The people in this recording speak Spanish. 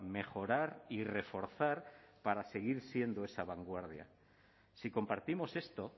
mejorar y reforzar para seguir siendo esa vanguardia si compartimos esto